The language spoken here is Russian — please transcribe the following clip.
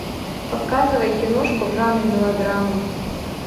показывай киношку в жанре мелодрама